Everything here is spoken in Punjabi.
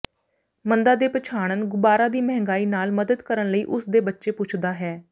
ਮੰਦਾ ਜੇ ਪਛਾਣਨ ਗੁਬਾਰਾ ਦੀ ਮਹਿੰਗਾਈ ਨਾਲ ਮਦਦ ਕਰਨ ਲਈ ਉਸ ਦੇ ਬੱਚੇ ਪੁੱਛਦਾ ਹੈ